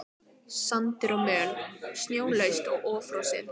Sandur og möl snjólaust og ófrosið.